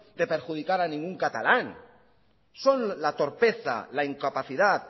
de perjudicar a ningún catalán son la torpeza la incapacidad